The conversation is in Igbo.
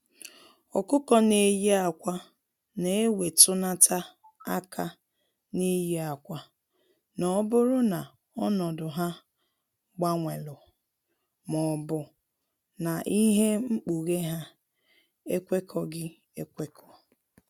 Ọkụkọ n'eyi akwa na ewetunata aka n'ịye akwa, n'oburu na ọnọdụ ha gbanwelu maọbu na ihe ikpughe ha ekwekọghi ekwekọ.